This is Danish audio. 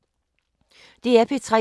DR P3